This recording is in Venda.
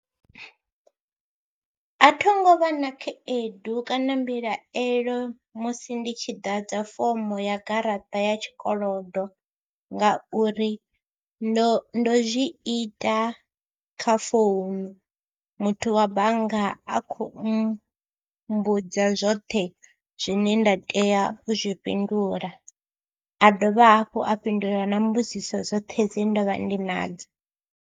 A tho ngo vha na khaedu kana mbilahelo musi ndi tshi ḓadza fomo ya garaṱa ya tshikolodo ngauri ndo ndo zwi ita kha founu, muthu wa bannga a khou mmbudza zwoṱhe zwine nda tea u zwi fhindula, a dovha hafhu a fhindula na mbudziso dzoṱhe dze nda vha ndi nadzo.